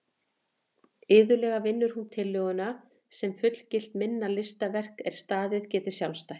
Iðulega vinnur hún tillöguna sem fullgilt minna listaverk er staðið geti sjálfstætt.